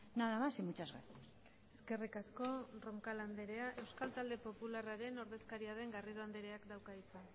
nada más y muchas gracias eskerrik asko roncal anderea euskal talde popularraren ordezkaria den garrido andereak dauka hitza